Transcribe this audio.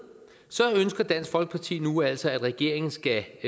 ønsker dansk folkeparti nu altså at regeringen skal